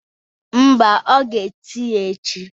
Mba, ọ ga-esi ya echi.